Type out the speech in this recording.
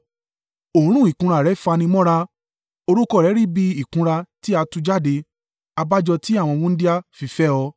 Òórùn ìkunra rẹ fanimọ́ra. Orúkọ rẹ rí bí ìkunra tí a tú jáde abájọ tí àwọn wúńdíá fi fẹ́ ọ.